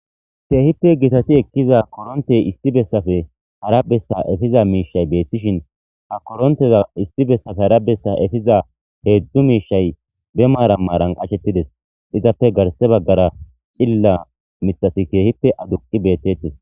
Keehippe gitati ekiza korontey issi besappe hara besa efiza miishayi beetishn ha koronteza issi besappe hara besa epiza hezdzdu miishayi be maran marani achetides, izappe garse bagara cilila mithati keehippe aduqi beetetesi